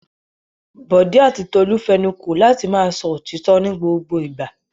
Bọ̀dé àti Tolú fẹnu kò láti máa sọ òtítọ́ ní gbogbo ìgbà.